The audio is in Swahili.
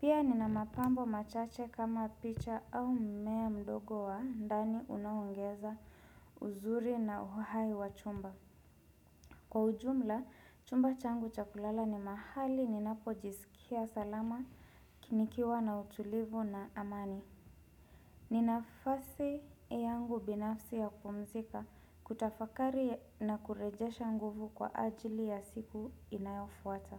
Pia nina mapambo machache kama picha au mmea mdogo wa ndani unaoongeza uzuri na uhai wa chumba. Kwa ujumla, chumba changu chakulala ni mahali ninapo jisikia salama nikiwa na utulivu na amani. Ni nafasi yangu binafsi ya kupumzika kutafakari na kurejesha nguvu kwa ajili ya siku inayofuata.